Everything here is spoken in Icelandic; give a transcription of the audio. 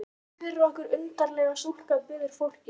Syngdu fyrir okkur undarlega stúlka, biður fólkið.